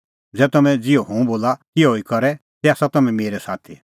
ज़ै तम्हैं ज़िहअ हुंह बोला तिहअ ई करे तै आसा तम्हैं मेरै साथी